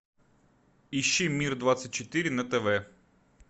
ищи мир двадцать четыре на тв